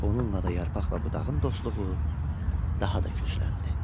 Bununla da yarpaq və budağın dostluğu daha da gücləndi.